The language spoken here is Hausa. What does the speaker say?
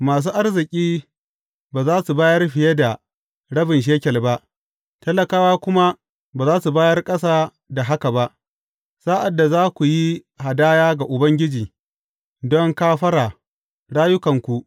Masu arziki ba za su bayar fiye da rabin shekel ba, talakawa kuma ba za su bayar ƙasa da haka ba, sa’ad da za ku yi hadaya ga Ubangiji don kafara rayukanku.